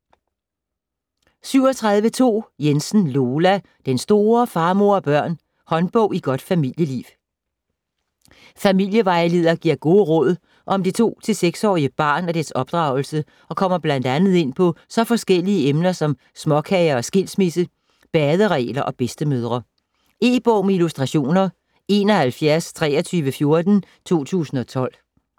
37.2 Jensen, Lola: Den store Far, mor & børn: håndbog i godt familieliv Familievejleder giver gode råd om det 2-6 årige barn og dets opdragelse og kommer bl.a. ind på så forskellige emner som småkager og skilsmisse, baderegler og bedstemødre. E-bog med illustrationer 712314 2012.